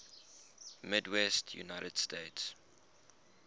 midwestern united states